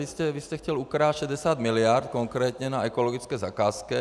Vy jste chtěl ukrást 60 miliard konkrétně na ekologické zakázce.